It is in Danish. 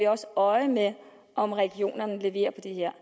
også øje med om regionerne leverer på det her